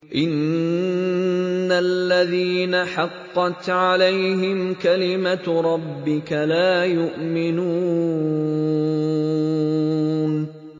إِنَّ الَّذِينَ حَقَّتْ عَلَيْهِمْ كَلِمَتُ رَبِّكَ لَا يُؤْمِنُونَ